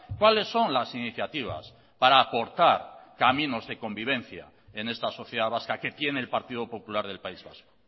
cuáles son las iniciativas para aportar caminos de convivencia en esta sociedad vasca que tiene el partido popular del país vasco